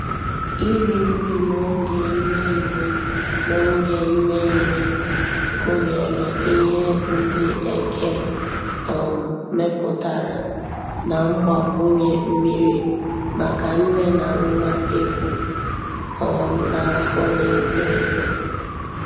iri nri n'oge ime ime n'oge ime ime gụnyere Ihe ndị eke um mepụtara na mgbakwunye mmiri maka nne na nwa ebu um n'afọ na-eto etọ